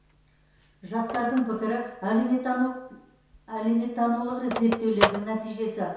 жастардың пікірі әлеуметтанулық зерттеулердің нәтижесі